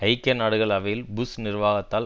ஐக்கிய நாடுகள் அவையில் புஷ் நிர்வாகத்தால்